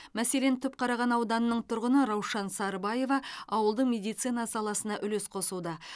мәселен түпқараған ауданының тұрғыны раушан сарбаева ауылдың медицина саласына үлес қосуда